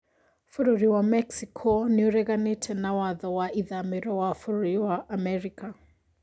Bũrũri wa Mexico nĩĩreganĩte na watho wa ithamĩro wa bũrũri wa Amerika